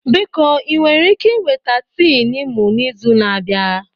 Biko ị nwere ike iweta tii Niimu n'izu na-abịa?